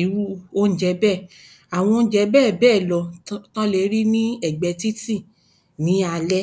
iru oúnjẹ bẹ́, àwọn oúnjẹ bẹ́ẹ̀ bẹ́ẹ̀ lọ tí wọn lè rí lẹ́gbẹ̀ẹ́ títì lalaalẹ́.